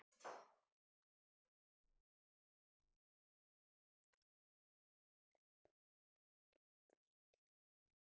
Á honum hvíli farsæld landsins.